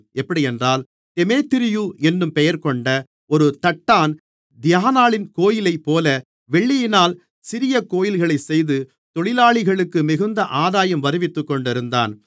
எப்படியென்றால் தெமேத்திரியு என்னும் பெயர்கொண்ட ஒரு தட்டான் தியானாளின் கோவிலைப்போல வெள்ளியினால் சிறிய கோவில்களைச் செய்து தொழிலாளிகளுக்கு மிகுந்த ஆதாயம் வருவித்துக்கொண்டிருந்தான்